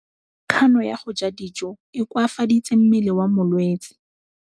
Kganô ya go ja dijo e koafaditse mmele wa molwetse.